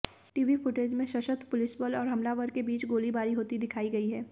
TV footage में सशस्त्र पुलिसबल और हमलावर के बीच गोलीबारी होती दिखाई गई है